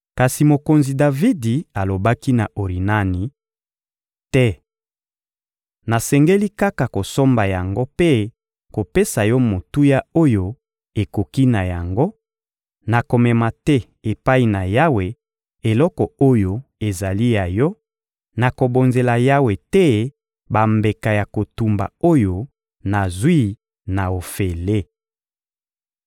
Kasi mokonzi Davidi alobaki na Orinani: — Te! Nasengeli kaka kosomba yango mpe kopesa yo motuya oyo ekoki na yango; nakomema te epai na Yawe eloko oyo ezali ya yo, nakobonzela Yawe te bambeka ya kotumba oyo nazwi na ofele.